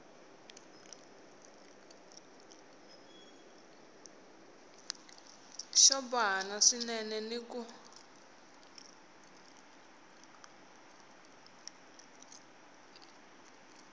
xo bohana swinene ni ku